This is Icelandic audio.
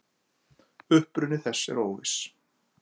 Uppruni þess er óviss.